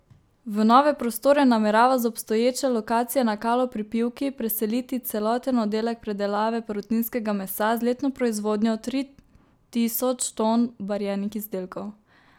V nove prostore namerava z obstoječe lokacije na Kalu pri Pivki preseliti celoten oddelek predelave perutninskega mesa z letno proizvodnjo tri tisoč ton barjenih izdelkov.